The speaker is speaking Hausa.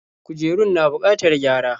Kujerun na bukatar gyara.